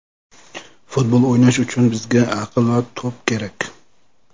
Futbol o‘ynash uchun bizga aql va to‘p kerak.